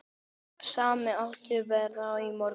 Sami háttur verður á morgun.